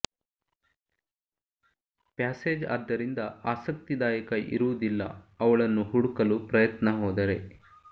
passage ಆದ್ದರಿಂದ ಆಸಕ್ತಿದಾಯಕ ಇರುವುದಿಲ್ಲ ಅವಳನ್ನು ಹುಡುಕಲು ಪ್ರಯತ್ನ ಹೋದರೆ